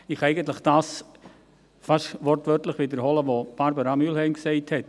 Ich kann eigentlich fast wortwörtlich das wiederholen, was Barbara Mühlheim gesagt hat.